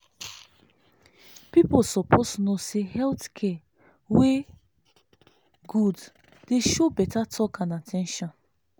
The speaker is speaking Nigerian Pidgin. people suppose know say health care wey good dey show better talk and at ten tion.